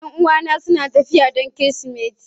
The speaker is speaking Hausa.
Yan'uwana suna tafiya don Kirsimeti.